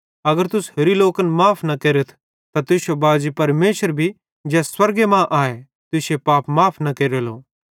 अगर तुस होरि लोकन माफ़ न केरथ त तुश्शो बाजी परमेशर भी ज़ै स्वर्गे मां आए तुश्शे पाप माफ़ न केरलो